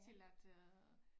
Til at øh